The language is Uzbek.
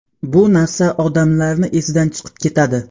Bu narsa odamlarni esidan chiqib ketadi.